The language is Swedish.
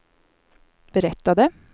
berättade